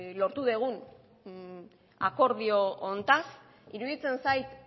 lortu dugun akordio honetaz iruditzen zait